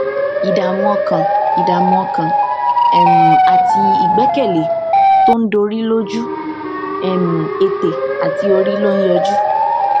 ìdààmú ọkàn ìdààmú ọkàn um àti ìgbékèlé tó ń dorí lójú um ètè um àti orí ló ń yọjú